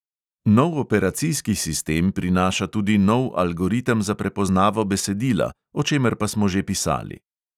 Nov operacijski sistem prinaša tudi nov algoritem za prepoznavo besedila, o čemer pa smo že pisali.